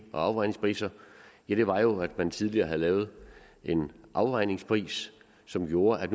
og afregningspriser ja det var jo at man tidligere havde lavet en afregningspris som gjorde at